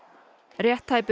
rétt tæpur